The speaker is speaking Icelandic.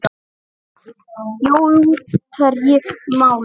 Jói útherji málið?